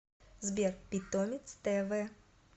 сбер питомец тэ вэ